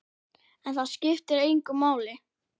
En það skiptir engu máli.